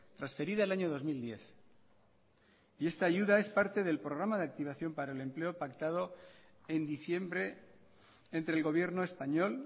transferida el año dos mil diez y esta ayuda es parte del programa de activación para el empleo pactado en diciembre entre el gobierno español